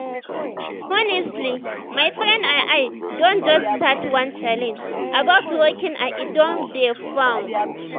honestly my friends and i don just start one challenge about walking and e don dey fun.